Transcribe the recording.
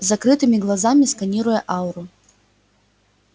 с закрытыми глазами сканируя ауру